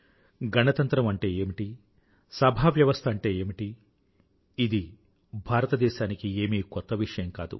గణతంత్రం అంటే ఏమిటి సభావ్యవస్థ అంటే ఏమిటీ ఇది భారతదేశానికి ఏమీ కొత్త విషయం కాదు